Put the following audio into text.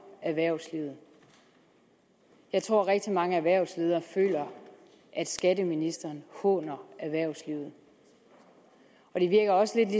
erhvervslivet jeg tror at rigtig mange erhvervsledere føler at skatteministeren håner erhvervslivet det virker også